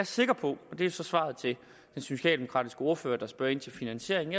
sikker på og det er så svaret til den socialdemokratiske ordfører der spørger ind til finansieringen